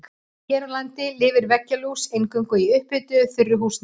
Hér á landi lifir veggjalús eingöngu í upphituðu þurru húsnæði.